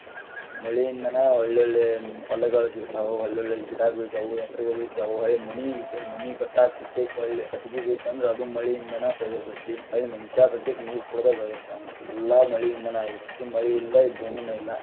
ಮಳೆಯಿಂದಾನ ಒಳ್ಳಿ ಒಳ್ಳಿ ಹೊಲಗಳ ಸಿಗ್ತಾವ, ಒಳ್ಳೆ ಒಳ್ಳೆ ಗಿಡ ಹೊಳ್ಳಿ ಮನಿ ಕಟ್ಟಾಕಸತೇಕ ಕಟ್ಟಿಗಿ ಬೇಕಂದ್ರ ಅದು ಹೊಳ್ಳಿ ಮಳಿಯಿಂದನ ಆಗಿರತೇತಿ, ಹೊಳ್ಳಿ ಮನಿಷ್ಯಾಸತೇಕ ಮಳಿಯಿಂದನ ನೀರ ಕುಡದ ಬೆಳದಿರ್ತಾನ, ಎಲ್ಲಾ ಮಳಿಯಿಂದನಾ ಆಗಿರ್ತೇತಿ ಮಳಿ ಇಲ್ಲದನ ಈ ಭೂಮಿನೇ ಇಲ್ಲ.